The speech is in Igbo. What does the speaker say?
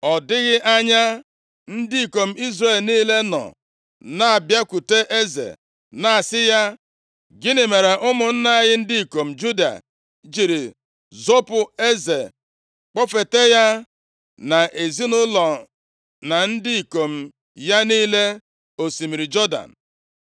Ọ dịghị anya, ndị ikom Izrel niile nọ na-abịakwute eze na-asị ya, “Gịnị mere ụmụnna anyị, ndị ikom Juda, jiri zopu eze kpọfeta ya na ezinaụlọ na ndị ikom ya niile osimiri Jọdan?”